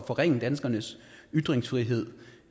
forringe danskernes ytringsfrihed